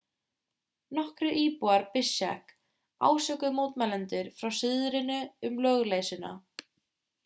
nokkrir íbúar bishkek ásökuðu mótmælendur frá suðrinu um lögleysuna